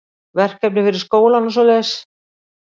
Verkefni fyrir skólann og svoleiðis.